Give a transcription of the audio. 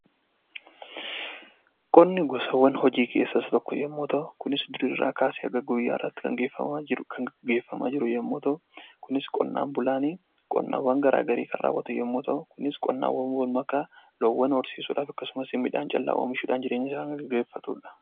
Qonni gosawwan hojii keessaa isa tokko yommuu ta'u, kunis durii irraa kaasee hanga guyyaa har'aatti kan gaggeeffamaa jiru yommuu ta'u, kunis qonnaan bulaani qonnawwan garaa garii kan raawwatu ta'u, kunis qonnaa wal makaa, loonwwan horsiisuudhaaf akkasumas midhaan callaa oomishuudhaan jireenyasaa kan gaggeeffatudha.